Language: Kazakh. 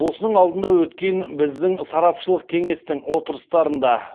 осының алдында өткен біздің сарапшылық кеңестің отырыстарында